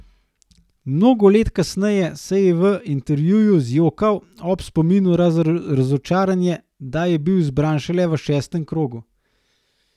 Mnogo let kasneje se je v intervjuju zjokal ob spominu na razočaranje, da je bil izbran šele v šestem krogu.